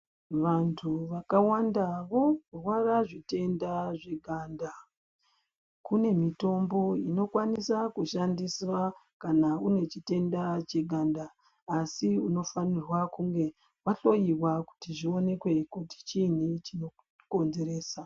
Vantu vakawanda vorwara zvitenda zveganda kunemitombo inokwanisa kushandiswa kana une chitenda cheganda. Asi unofanirwa kunge vahloiwa kuti zvioneke kuti chiini chinokonzeresa.